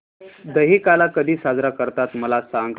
दहिकाला कधी साजरा करतात मला सांग